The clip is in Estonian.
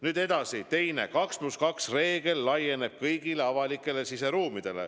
Nüüd edasi, punkt kaks: 2 + 2 reegel laieneb, seda tuleb järgida kõigis avalikes siseruumides.